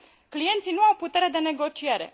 clienții nu au putere de negociere.